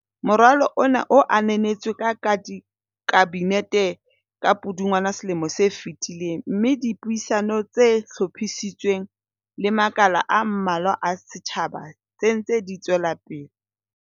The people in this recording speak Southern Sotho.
Moralo ona o ananetswe ke ka di Kabinete ka Pudungwana selomo se fetileng mme le dipuisano tse hlophisitsweng le makala a mmalwa a setjha ba, se ntse di tswelapele.